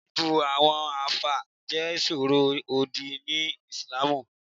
Bíbu àwọn àfáà jẹ́ ìsọ̀rọ̀ òdì ni ìslamù